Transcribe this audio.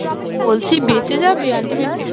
বলছি বেঁচে যাবে? ultimately